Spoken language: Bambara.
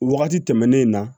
Wagati tɛmɛnen na